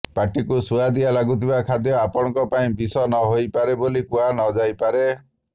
ପାଟିକୁ ସୁଆଦିଆ ଲାଗୁଥିବା ଖାଦ୍ୟ ଆପଣଙ୍କ ପାଇଁ ବିଷ ନ ହୋଇପାରେ ବୋଲି କୁହା ନ ଯାଇପାରେ